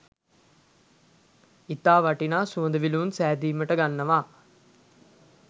ඉතා වටිනා සුවඳ විලවුන් සැදීමට ගන්නවා